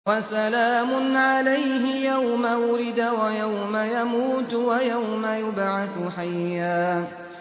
وَسَلَامٌ عَلَيْهِ يَوْمَ وُلِدَ وَيَوْمَ يَمُوتُ وَيَوْمَ يُبْعَثُ حَيًّا